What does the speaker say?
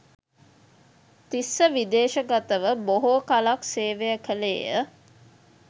තිස්ස විදේශගතව බොහෝ කලක් සේවය කළේය.